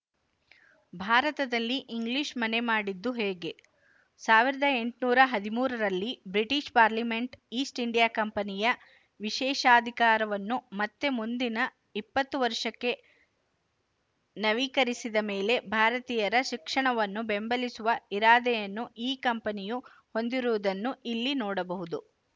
ಭಾರತದಲ್ಲಿ ಇಂಗ್ಲಿಶು ಮನೆ ಮಾಡಿದ್ದು ಹೇಗೆ ಸಾವಿರದ ಎಂಟುನೂರ ಹದಿಮೂರರಲ್ಲಿ ಬ್ರಿಟಿಶ ಪಾರ್ಲಿಮೆಂಟ್ ಈಸ್ಟ್‌ ಇಂಡಿಯಾ ಕಂಪನಿಯ ವಿಶೇಶಾಧಿಕಾರವನ್ನು ಮತ್ತೆ ಮುಂದಿನ ಇಪ್ಪತ್ತು ವರುಶಕ್ಕೆ ನವೀಕರಿಸಿದ ಮೇಲೆ ಭಾರತೀಯರ ಶಿಕ್ಷಣವನ್ನು ಬೆಂಬಲಿಸುವ ಇರಾದೆಯನ್ನು ಈ ಕಂಪನಿಯು ಹೊಂದಿರುವುದನ್ನು ಇಲ್ಲಿ ನೋಡಬಹುದು